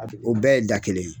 o bɛɛ ye da kelen ye.